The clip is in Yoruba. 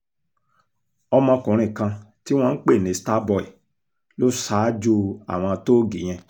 ọmọkùnrin kan tí wọ́n ń pè ní star boy lọ ṣáájú àwọn tóògì yẹn